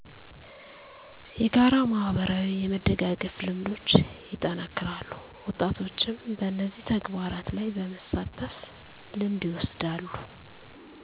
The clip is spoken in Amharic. የጋራ ማህበራዊ የመደጋገፍ ልምዶች ይጠናከራሉ ወጣቶችም በነዚህ ተግባራት ላይ በመሳተፍ ልምድ ይወስዳሉ